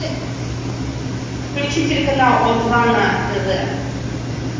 включи телеканал о два на тв